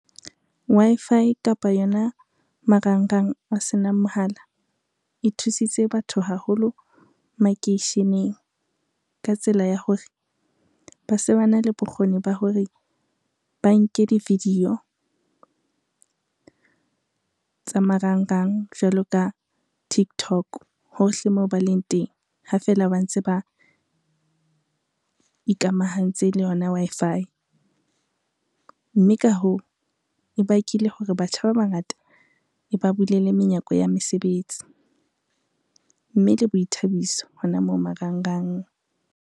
Wi-Fi kapa yona marangrang o senang mohala e thusitse batho haholo makeisheneng. Ka tsela ya hore ba se ba na le bokgoni ba hore, ba nke di-video tsa marangrang jwalo ka Tiktok hohle moo ba leng teng ha feela ba ntse ba ikamahantse le yona Wi-Fi, mme ka hoo, e bakile hore batjha ba bangata e ba bulele menyako ya mesebetsi, mme le boithabiso hona moo marangrang.